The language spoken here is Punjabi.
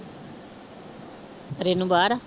ਰੇਨੂੰ ਬਾਹਰ ਆ?